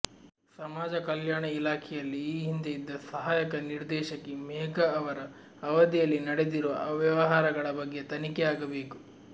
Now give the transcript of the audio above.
ಸಮಾಜ ಕಲ್ಯಾಣ ಇಲಾಖೆಯಲ್ಲಿ ಈ ಹಿಂದೆ ಇದ್ದ ಸಹಾಯಕ ನಿರ್ದೇಶಕಿ ಮೇಘಾ ಅವರ ಅವಧಿಯಲ್ಲಿ ನಡೆದಿರುವ ಅವ್ಯವಹಾರಗಳ ಬಗ್ಗೆ ತನಿಖೆಯಾಗಬೇಕು